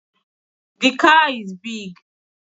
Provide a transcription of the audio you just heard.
The car is big